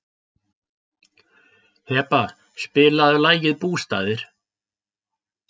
Heba, spilaðu lagið „Bústaðir“.